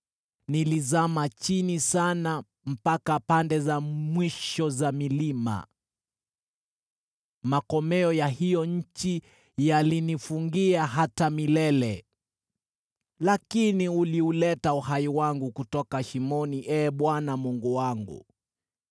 Nilizama chini sana mpaka pande za mwisho za milima, makomeo ya hiyo nchi yalinifungia hata milele. Lakini uliuleta uhai wangu kutoka shimoni, Ee Bwana Mungu wangu.